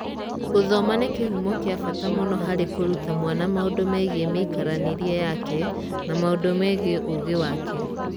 Gũthoma nĩ kĩhumo kĩa bata mũno harĩ kũruta mwana maũndũ megiĩ mĩikaranĩrie yake na maũndũ megiĩ ũũgĩ wake.